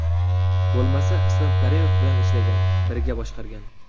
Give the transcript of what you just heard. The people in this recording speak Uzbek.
Bo‘lmasa, Islom Karimov bilan ishlagan, birga boshqargan.